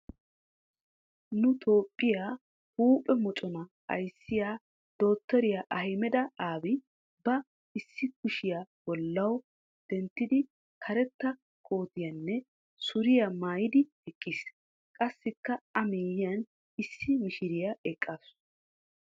Nu toophphiya huuphe moconaa ayissiya dotoriya ahmeda abi ba issi kushiya bollawu denttidi karetta kootiyanne suriya mayidi eqqiis. Qassikka a miyyiyan issi mishiriya eqqaasu.